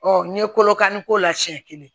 n'i ye kolokanni k'o la siɲɛ kelen